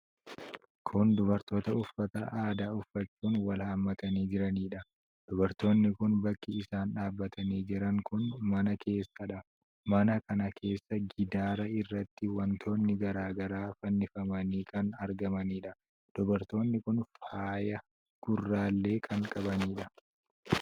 Kun dubartoota uffata aadaa uffachuun wal hammatanii jiraniidha. Dubartoonni kun bakki isaan dhaabatanii jiran kun mana keessadha. Mana kana keessa gidaara irratti wantoonni garaa garaa fannifamanii kan argamaniidha. Dubartoonni kun faaya gurraallee kan qabaniidha.